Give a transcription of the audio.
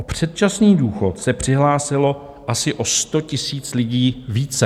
O předčasný důchod se přihlásilo asi o 100 000 lidí více.